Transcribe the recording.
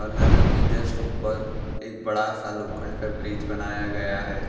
नदी के जस्ट ऊपर एक बड़ा सा लोखंड का ब्रिज बनाया गया है।